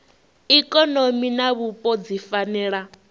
ikonomi na vhupo dzi fanela